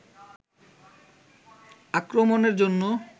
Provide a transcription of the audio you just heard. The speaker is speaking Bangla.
আক্রমণের জন্য